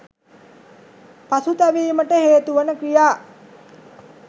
පසුතැවීමට හේතුවන ක්‍රියා